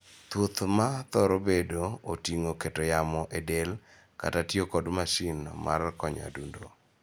Thieth ma thoro bedo oting'o keto yamo e del kata tiyo kod masin ma konyo adundo.